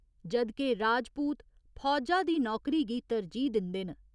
जद् के राजपूत फौजा दी नौकरी गी तरजीह् दिंदे न।